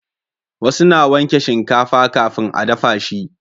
wasu na wanke shinkafa kafin a dafa shi